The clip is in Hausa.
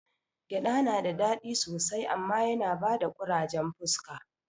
Gyaɗa nada dadi sosai amma yana bada ƙurajen fuska